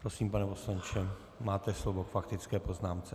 Prosím, pane poslanče, máte slovo k faktické poznámce.